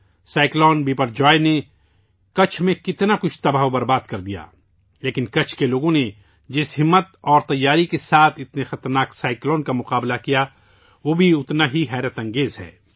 سمندری طوفان بپرجوائے نے کچھ میں بہت تباہی مچائی، لیکن کچھ کے لوگوں نے جس ہمت اور تیاری کے ساتھ اس خطرناک طوفان کا سامنا کیا وہ اتنا ہی غیرمعمولی ہے